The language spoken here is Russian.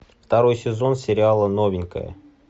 второй сезон сериала новенькая